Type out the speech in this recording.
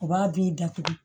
U b'a bi datugu